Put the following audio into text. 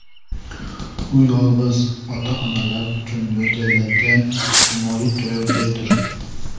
U yolg‘iz ota-onalar uchun mo‘ljallangan ijtimoiy turar-joydir.